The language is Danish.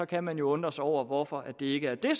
kan man jo undre sig over hvorfor det ikke er det